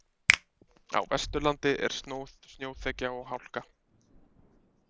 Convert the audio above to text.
Á Vesturlandi er snjóþekja og hálka